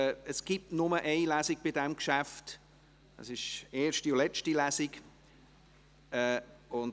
Es gibt bei diesem Geschäft nur eine Lesung;